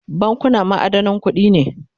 bankuna ma'adanan kuɗi ne